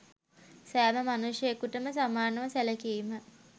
සෑම මනුෂ්‍යයකුටම සමානව සැලකීම